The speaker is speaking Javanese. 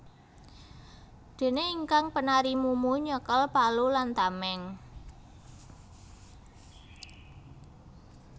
Dene ingkang penari mumu nyekel palu lan tameng